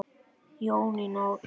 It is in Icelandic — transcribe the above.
Jónína og Gylfi.